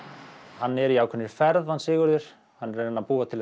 hann er í ákveðinni ferð hann Sigurður hann er að reyna að búa til